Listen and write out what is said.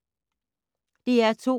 DR2